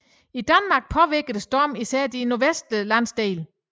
I Danmark påvirkede stormen især de nordvestlige landsdele